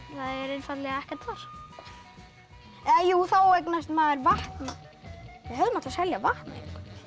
er einfaldlega ekkert þar jú þá eignast maður vatn við hefðum átt að selja vatnið